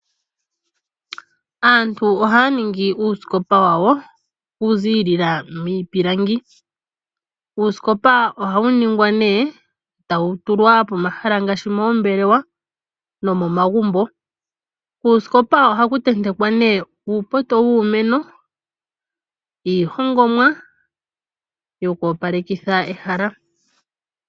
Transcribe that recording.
Aantu ohaya ningi uusikopa wawo okuziilila miipilangi. Uusikopa ohawu ningwa nduno tawu tulwa pomahala ngaashi moombelewa nomomagumbo. Puusikopa ohapu tentekwa nduno uupoto wuumeno niihongomwa yokoopalekitha ehala.